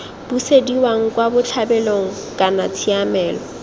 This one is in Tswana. busediwang kwa botlhabelong kana tshiamelo